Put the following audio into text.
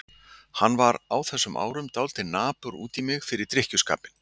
Hann var á þessum árum dálítið napur út í mig fyrir drykkjuskapinn.